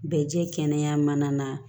Bɛ jɛ kɛnɛya mana na